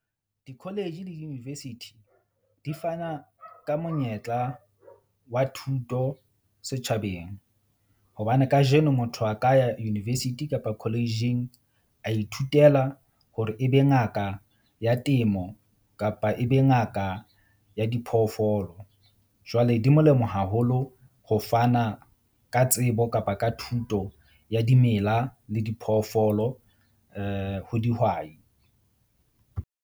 Di-college le di-university di fana ka monyetla wa thuto setjhabeng, hobane kajeno motho a ka ya university kapa college-ing a ithutela hore e be ngaka ya temo, kapa e be ngaka ya diphoofolo. Jwale di molemo haholo ho fana ka tsebo kapa ka thuto ya dimela le diphoofolo ho dihwai.